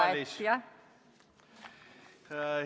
Praegu meil ei ole sellist diskussiooni kahjuks saalis.